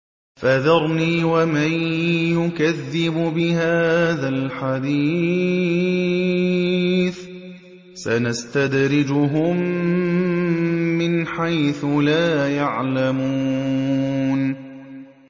فَذَرْنِي وَمَن يُكَذِّبُ بِهَٰذَا الْحَدِيثِ ۖ سَنَسْتَدْرِجُهُم مِّنْ حَيْثُ لَا يَعْلَمُونَ